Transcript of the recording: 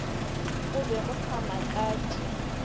go be go sa makatše